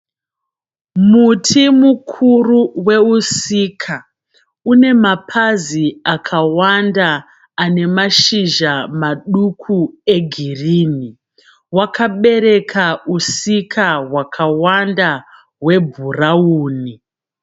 Muti mukuru weUsika, une mapazi akawanda ane mashizha maduku egirini. Wakabereka Usika hwakawanda hwebhurauni.